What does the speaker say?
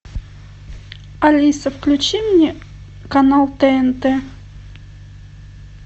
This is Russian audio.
алиса включи мне канал тнт